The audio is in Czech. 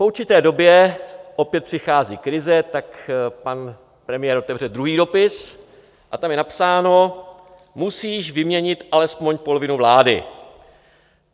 Po určité době opět přichází krize, tak pan premiér otevře druhý dopis a tam je napsáno "musíš vyměnit alespoň polovinu vlády".